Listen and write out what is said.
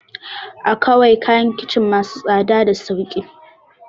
Akawai kayan kicin masu tsada da sauki